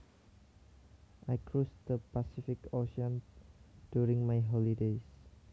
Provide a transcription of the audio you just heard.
I cruised the Pacific Ocean during my holidays